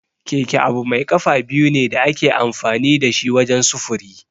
Keke abu mai kafa biyu ne da ake amfani da shi wajen sufuri.